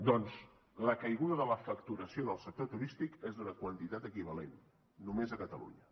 doncs la caiguda de la facturació en el sector turístic és d’una quantitat equivalent només a catalunya